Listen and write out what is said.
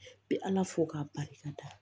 I bɛ ala fo k'a barika da